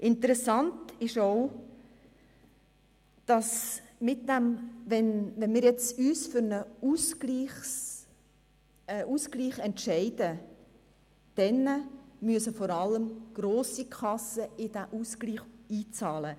Interessant ist auch, dass vor allem grosse Kassen in den Ausgleich einzahlen müssen, wenn wir uns für einen Ausgleich entscheiden.